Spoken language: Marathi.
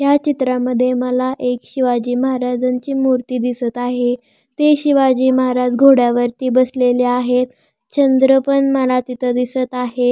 या चीत्रमध्ये मला एक शिवाजी महाराजांची मुर्ती दिसत आहे ते शिवाजी महाराज घोड्यावरती बसलेले आहेत चंद्र पण मला तिथ दिसत आहे.